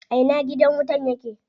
A ina gidan wutan yake?